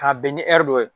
K'a bɛn ni ɛri dɔ ye